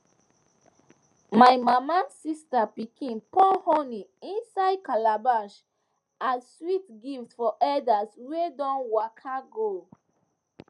my mama sister pikin pour honey inside calabash as sweet gift for elders wey don waka go